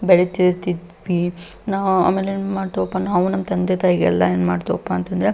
ಬೆಳೀತಾ ಇರ್ತಿದ್ವಿ ನಾವು ನಮ್ಮ ತಂದೆ ತಾಯಿಗೆ ಎಲ್ಲ ಏನ್ ಮಾಡ್ತೇವಪ್ಪಅಂತ ಅಂದ್ರೆ --